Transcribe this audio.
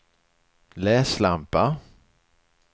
läslampa